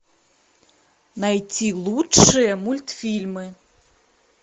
найти лучшие мультфильмы